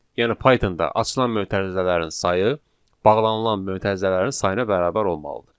Yəni Python-da açılan mötərizələrin sayı bağlanan mötərizələrin sayına bərabər olmalıdır.